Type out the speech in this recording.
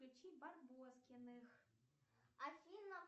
включи барбоскиных афина